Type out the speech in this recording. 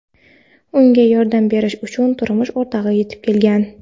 Unga yordam berish uchun turmush o‘rtog‘i yetib kelgan.